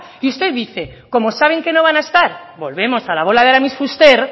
y usted dice como saben que no van a estar volvemos a la bola de aramis fuster